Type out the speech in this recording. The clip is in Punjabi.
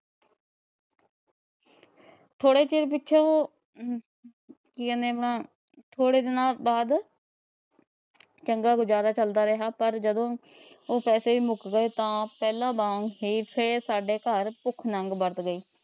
ਥੋੜੇ ਚਿਰ ਪਿੱਛੋਂ ਜਾਣੇ ਆਪਣਾ ਥੋੜੇ ਦਿਨਾਂ ਵਾਦ ਚੰਗਾ ਗੁਜ਼ਾਰਾ ਚਲਦਾ ਰਿਹਾ। ਪਰ ਜਦੋ ਉਹ ਪੈਸੇ ਮੁੱਕ ਗਏ ਤਾ ਪਹਿਲਾ ਵਾਂਗ ਹੀ ਫ਼ੇਰ ਸਾਡੇ ਘਰ ਭੁੱਖ ਨੰਗ ਵਰਤ ਗਈ।